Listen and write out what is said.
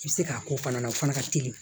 I bɛ se k'a ko fana na o fana ka teli